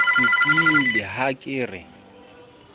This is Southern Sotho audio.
ke tiile ha ke re